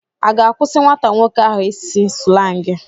Ị ga-akwụsị nwata nwoke ahụ ịsụ slangị?